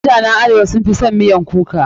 Mutanen arewa sun fi son miyan baobab.